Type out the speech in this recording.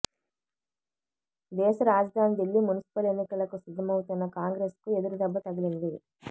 దేశ రాజధాని దిల్లీ మున్సిపల్ ఎన్నికలకు సిద్ధమవుతున్న కాంగ్రెస్కు ఎదురుదెబ్బ తగిలింది